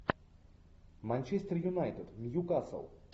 манчестер юнайтед нью касл